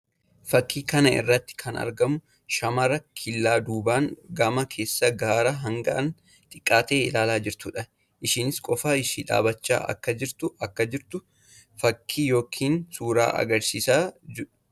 Fakkii kana irratti kan argamu shamara killaa duubaan gama keessatti gaara hangaan xiqqaa ta'e ilaalaa jirtuu dha. Isheenis qofaa ishee dhaabbachaa akka jirtu akka jirtu fakkii yookiin suura agarsiisuu dha.